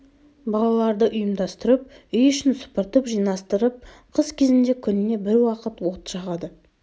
балаларды ұйымдастырып үй ішін сыпыртып жинастырып қыс кезінде күніне бір уақыт от жағады